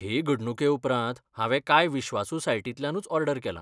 हे घडणुके उपरांत हांवे कांय विश्वासू सायटींतल्यानूच ऑर्डर केलां.